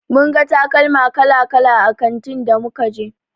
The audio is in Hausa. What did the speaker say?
Mun ga takalma kala-kala a kantin da muka je.